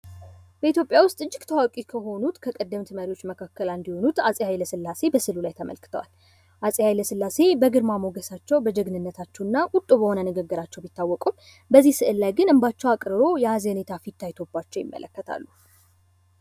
በኢትዮጵያ ውስጥ እጅግ እጅግ ታዋቂ ከሆኑት ከቀደምት መሪዎች መካከል አንዱ የሆኑት አፄ ኃይለሥላሴ በስዕሉ ላይ ተመልክተዋል። አፄ ኃይለሥላሴ በግርማ ሞገሳቸው ፣በጀግንነታቸው እና ቁጡ በሆነ ንግግራቸው ቢታወቁም በዚህ ምስል ላይ ግን እንባቸው አቅርሮ የሀዘኔታ ፊትታይቶባቸው ይመለከታሉ።